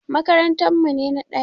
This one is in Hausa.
Makarantar mu ne na ɗaya.